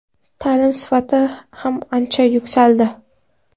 Ta’lim sifati ham ancha yuksaldi.